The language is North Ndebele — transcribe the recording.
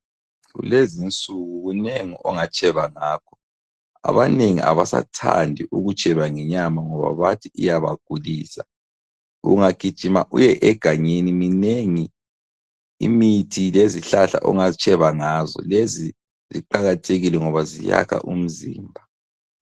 Kulezinsuku kunengi ongatsheba ngakho. Abanengi abasathandi ukutsheba ngenyama ngoba bathi iyabagulisa. Ungagijima uyegangeni minengi imithi lezihlahla ongatsheba ngazo ,lezi ziqakathekile ngoba ziyakha umzimba.